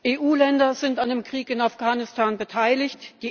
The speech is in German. EU Länder sind an dem Krieg in Afghanistan beteiligt.